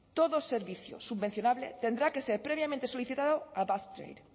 todo servicio subvencionable tendrá que ser previamente solicitado a basque trade